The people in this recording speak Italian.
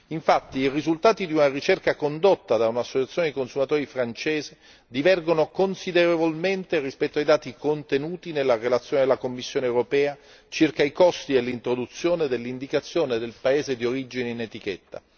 Infatti, i risultati di una ricerca condotta da un'associazione dei consumatori francese divergono considerevolmente rispetto ai dati contenuti nella relazione della Commissione europea circa i costi dell'introduzione dell'indicazione del paese d'origine in etichetta.